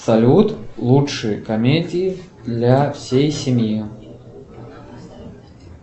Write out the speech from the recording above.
салют лучшие комедии для всей семьи